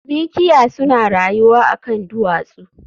Mikiya suna rayuwa a kan duwatsu